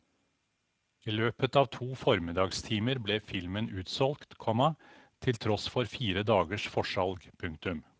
I løpet av to formiddagstimer ble filmen utsolgt, komma til tross for fire dagers forsalg. punktum